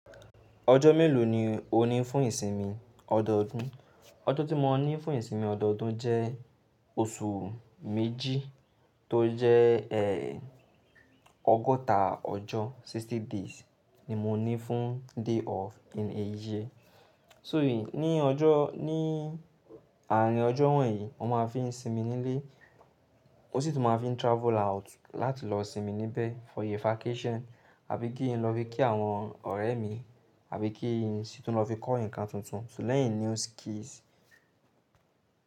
Ọjọ́ mélòó ni o ní fún ìsinmi ọdọọdún? Ọjọ́ tí mo ní fún ìsinmi ọdọọdún jẹ́ oṣù méjì tó jẹ́ ẹ́ ọgọ́ta ọjọ́, sixty days ni mo ní fún day off in a year. So mìí ní ọjọ́, ní àárín ọjọ́ wọ̀nyí mo máa fi ń sinmi nílé, o sí tún máa fi ń travel out láti lọ sinmi níbẹ̀ for a vacation, àbí kí n lọ fi kí àwọn ọ̀rẹ́ mi, àbí kí n sì tún lọ fi kọ́ nǹkan tuntun to learn a new skills.